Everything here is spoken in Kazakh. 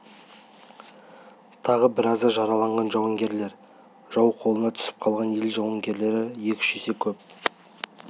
тағы біразы жараланған жауынгерлер жау қолына түсіп қалған ел жауынгерлері екі-үш есе кеп